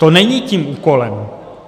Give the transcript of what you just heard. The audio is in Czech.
To není tím úkolem.